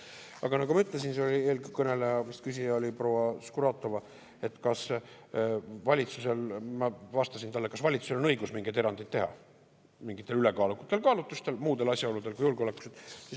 Aga nagu ma ütlesin – küsija oli vist proua Skuratovski –, ma vastasin talle, kas valitsusel on õigus mingeid erandeid teha mingitel ülekaalukatel kaalutlustel, muudel asjaoludel kui julgeolek.